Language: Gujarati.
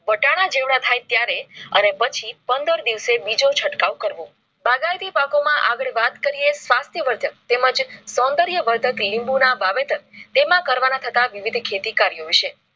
વટાણા જીવડાં થાય ત્યારે અને પછી પંદર દિવસે બીજો છટકાવ કરવો બાગાયતી પાકો માં આગર વાત કરિયે. સ્વસ્તીયા વરદક તેમજ સૌંદર્ય વરદાક લીંબુના વાવેતર તેમાં કરવા ના થતા વિવિધ ખેતી કાર્ય વિષય.